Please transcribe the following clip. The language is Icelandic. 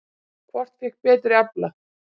Hvort fékk betri afla?